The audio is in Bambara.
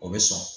O bɛ sɔn